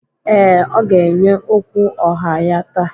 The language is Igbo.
Ee, ọ ga-enye okwu ọha ya taa.